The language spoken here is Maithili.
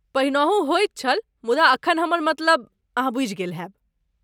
पहिनहु होइत छल, मुदा एखन हमर मतलब अहाँ बूझि गेल होयब।